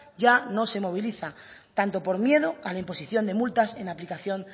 ya no se moviliza tanto por miedo a la imposición de multas en aplicación